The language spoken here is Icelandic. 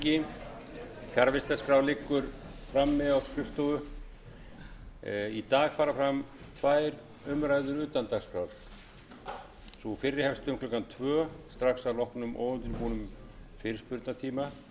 í dag fara fram tvær umræður utan dagskrár sú fyrri hefst um klukkan tvö strax að loknum óundirbúnum fyrirspurnatíma og er um málefni ríkisútvarpsins málshefjandi er háttvirtur þingmaður katrín jakobsdóttir menntamálaráðherra verður til andsvara síðari umræðan hefst um klukkan þrjú þrjátíu